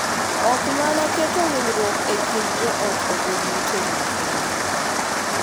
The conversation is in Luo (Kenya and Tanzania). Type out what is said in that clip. Ok mana keto winjruok e kind joot obed motegno kende .